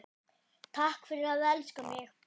Takk fyrir að elska mig.